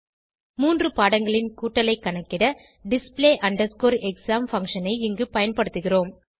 மூன்று பாடங்களின் கூட்டலைக் கணக்கிட display exam பங்ஷன் ஐ இங்கு பயன்படுத்துகிறோம்